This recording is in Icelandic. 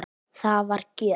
Það var gjöf.